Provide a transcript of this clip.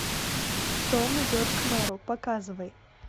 том идет к мэру показывай